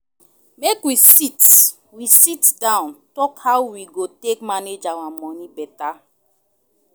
Make we sit we sitdown tok how we go take manage our moni beta.